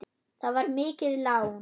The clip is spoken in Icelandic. Það var mikið lán.